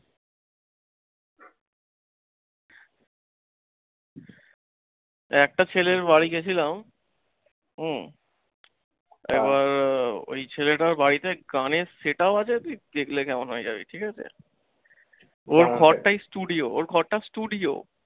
একটা ছেলের বাড়ি গেছিলাম উম তারপর ঐ ছেলেটার বাড়িতে গানের set up আছে তুই দেখলে কেমন হয়ে যাবি ঠিকাছে। ওর ঘরটাই studio ওর ঘরটা studio